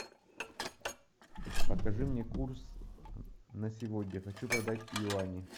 покажи мне курс на сегодня хочу продать юани